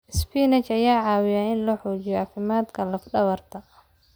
Isbinaash ayaa caawiya in la xoojiyo caafimaadka lafdhabarta.